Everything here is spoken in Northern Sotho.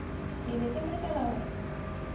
ke be ke makala gore